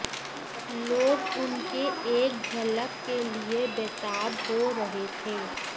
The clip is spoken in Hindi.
लोग उनके एक झलक के लिए बेताब हो रहे थे